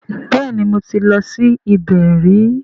Bẹ́ẹ̀ni mo ti lọ sí ibẹ̀ rí